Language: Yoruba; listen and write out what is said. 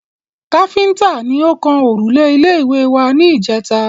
Káfíntà ni ó kan òrùlé ilé wa ní ìjèta